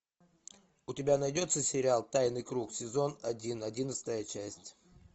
у тебя найдется сериал тайный круг сезон один одиннадцатая часть